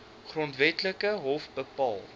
grondwetlike hof bepaal